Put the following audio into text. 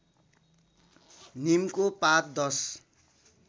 नीमको पात दश